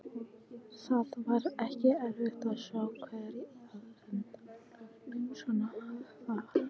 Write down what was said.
Það var ekki erfitt að sjá hver var aðalpersónan þar.